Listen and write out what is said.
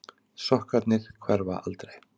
Sokkarnir hverfa aldrei.